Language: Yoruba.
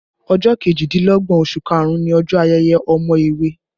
Ọjọ́ kejìdínlọ́gbọ̀n oṣù karùn-ún ni ọjọ ayẹyẹ àwọn èwe